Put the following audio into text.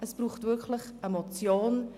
Es braucht wirklich eine Motion.